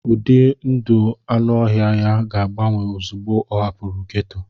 Ụdị ndụ anụ ọhịa ya ga-agbanwe ozugbo ọ hapụrụ gétò